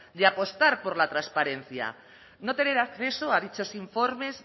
de apostar por la transparencia no tener acceso a dichos informes